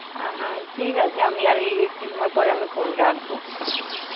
আহ ঠিক আছে, আমি আর এর একটু সময় পর আমি phone রাখবো,